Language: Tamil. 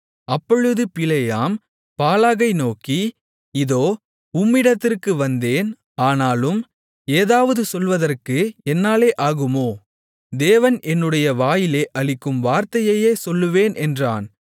அப்பொழுது பிலேயாம் பாலாகை நோக்கி இதோ உம்மிடத்திற்கு வந்தேன் ஆனாலும் ஏதாவது சொல்வதற்கு என்னாலே ஆகுமோ தேவன் என்னுடைய வாயிலே அளிக்கும் வார்த்தையையே சொல்லுவேன் என்றான்